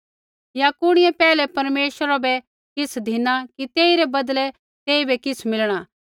या कुणिऐ पैहलै परमेश्वरा बै किछ़ धिना कि तेइरै बदले तेइबै किछ़ मिलणा